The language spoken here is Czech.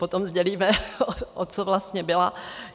Potom sdělíme, o co vlastně byla.